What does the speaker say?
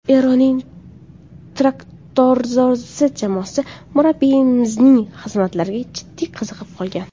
Eronning ‘Traktorsozi’ jamoasi murabbiyimizning xizmatlariga jiddiy qiziqib qolgan.